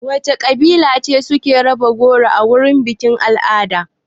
Wana kabila ne suke raba goro a wajan bikin-al'ada?